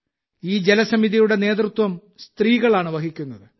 ഈ ജലസമിതിയുടെ നേതൃത്വം സ്ത്രീകളാണ് വഹിക്കുന്നത്